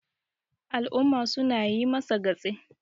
al'umma suna yi masa gatse